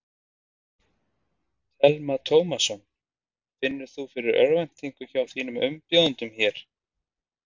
Telma Tómasson: Finnur þú fyrir örvæntingu hjá þínum umbjóðendum hér?